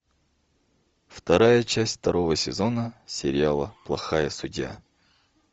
вторая часть второго сезона сериала плохая судья